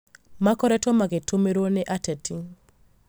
makoretwo magĩtũmĩrwo nĩ ateti